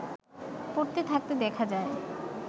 পড়ে থাকতে দেখা যায়